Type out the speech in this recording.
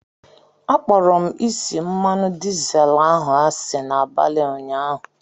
Akpọrọ m isi mmanụ dizel ahụ asị n'abalị ụnyaahụ.